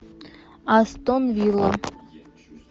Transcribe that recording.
астон вилла